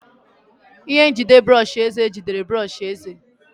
Ihe njide brọsh eze jide brọsh eze.